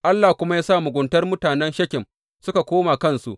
Allah kuma ya sa muguntar mutanen Shekem suka koma kansu.